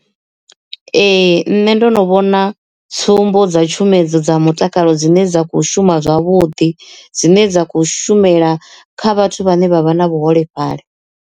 Ee nṋe ndono vhona tsumbo dza tshumedzo dza mutakalo dzine dza khou shuma zwavhuḓi dzine dza khou shumela kha vhathu vhane vha vha na vhuholefhali.